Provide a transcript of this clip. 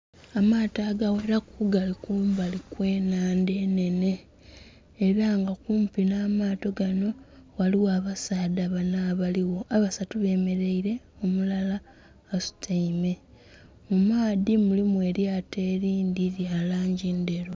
Amaato aga ghelalu gali ku mbali kwe nhandha enhenhe era nga kumpi nha maato ganho, ghaligho abasaadha bana abaligho abasatu bemereire omulala asutaime mu maadhi mulimu elyato elindhi lya langi endheru.